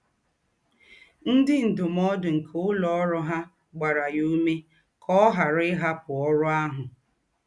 Ńdị ndúmòdù nke ǒlụ́ọ̀rụ̀ hà gbàrà yà ǔmé kà ọ̀ ghàrà íhapụ́ ọ̀rụ̀ àhụ̀.